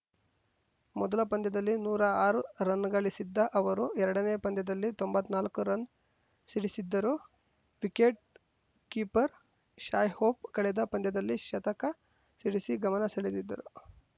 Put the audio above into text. ಮೊದಲ ಪಂದ್ಯದಲ್ಲಿ ನೂರಾ ಆರು ರನ್‌ ಗಳಿಸಿದ್ದ ಅವರು ಎರಡನೇ ಪಂದ್ಯದಲ್ಲಿ ತೊಂಬತ್ ನಾಲ್ಕು ರನ್‌ ಸಿಡಿಸಿದ್ದರು ವಿಕೆಟ್‌ ಕೀಪರ್‌ ಶಾಯ್‌ ಹೋಪ್‌ ಕಳೆದ ಪಂದ್ಯದಲ್ಲಿ ಶತಕ ಸಿಡಿಸಿ ಗಮನ ಸೆಳೆದಿದ್ದರು